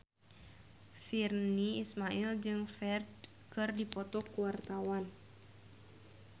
Virnie Ismail jeung Ferdge keur dipoto ku wartawan